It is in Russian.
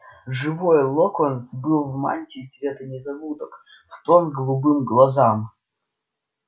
живой локонс был в мантии цвета незабудок в тон голубым глазам